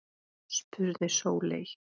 spurði Sóley